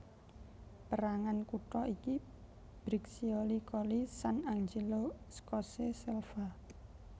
Pérangan kutha iki Briccioli Colli Sant Angelo Scosse Selva